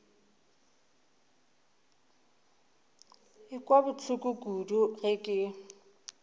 ekwa bohloko kudu ge ke